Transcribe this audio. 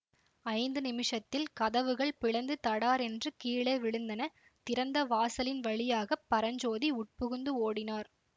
ஐந்து நிமிஷத்தில் கதவுகள் பிளந்து தடாரென்று கீழே விழுந்தன திறந்த வாசலின் வழியாக பரஞ்சோதி உட்புகுந்து ஓடினார்